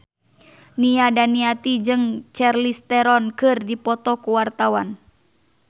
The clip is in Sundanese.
Nia Daniati jeung Charlize Theron keur dipoto ku wartawan